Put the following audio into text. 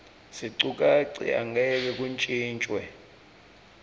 sicukatsi angeke kuntjintjwe